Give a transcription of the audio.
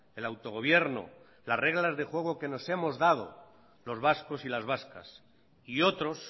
el autogobierno las reglas de juego que nos hemos dado los vascos y las vascas y otros